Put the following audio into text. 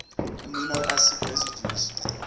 amino acid residues